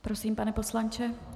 Prosím, pane poslanče.